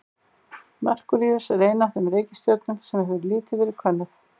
Merkúríus er ein af þeim reikistjörnum sem hefur lítið verið könnuð.